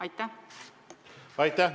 Aitäh!